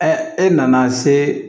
e nana se